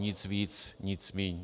Nic víc, nic míň.